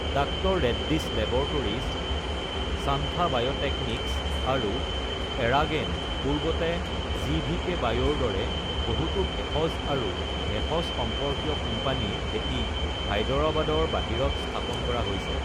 ডাঃ Reddy's laboratories, Shantha biotechnics, আৰু এৰাগেন (পূৰ্বতে জিভিকে বায়’)ৰ দৰে বহুতো ভেষজ আৰু ভেষজ সম্পৰ্কীয় কোম্পানীৰ ভেটি হায়দৰাবাদৰ বাহিৰত স্থাপন কৰা হৈছে।